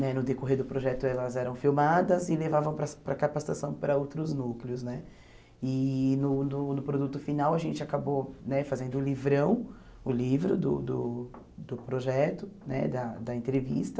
né no decorrer do projeto elas eram filmadas e levavam para para a capacitação para outros núcleos né e no no no produto final a gente acabou né fazendo o livrão o livro do do do projeto né da da entrevista